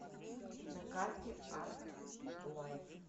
на карте артлайф